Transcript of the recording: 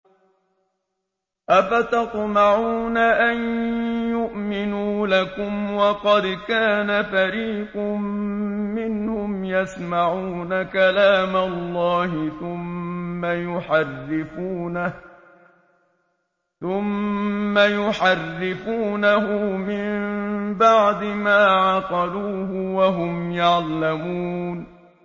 ۞ أَفَتَطْمَعُونَ أَن يُؤْمِنُوا لَكُمْ وَقَدْ كَانَ فَرِيقٌ مِّنْهُمْ يَسْمَعُونَ كَلَامَ اللَّهِ ثُمَّ يُحَرِّفُونَهُ مِن بَعْدِ مَا عَقَلُوهُ وَهُمْ يَعْلَمُونَ